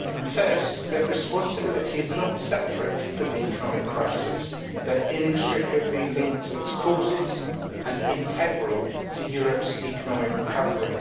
First, that responsibility is not separate from the economic crisis but inextricably linked to its causes and integral to Europe's economic recovery.